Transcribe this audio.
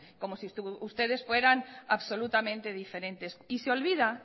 como si ustedes fueran absolutamente diferentes y se olvida